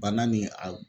Bana ni a